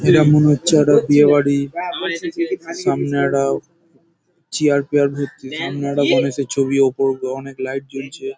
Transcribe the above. এটা মনে হচ্ছে একটা বিয়ে বাড়ি। সামনে একটা চেয়ার পেয়ার ভর্তি সামনে একটা গনেশ-এর ছবি.ওপর গ অনেক লাইট জ্বলছে।